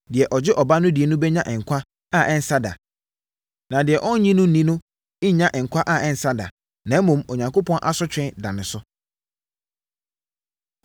Deɛ ɔgye Ɔba no di no bɛnya nkwa a ɛnsa da, na deɛ ɔnnye no nni no rennya nkwa a ɛnsa da, na mmom, Onyankopɔn asotwe da ne so.”